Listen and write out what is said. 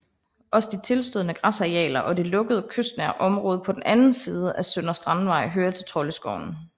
Også de tilstødende græsarealer og det lukkede kystnære område på den anden side af Søndre Strandvej hører til Troldeskoven